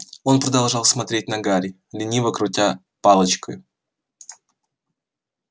он продолжал смотреть на гарри лениво крутя палочку